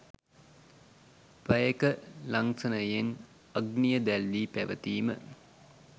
පැය ක ලංසනයෙන් අග්නිය දැල්වී පැවැතීම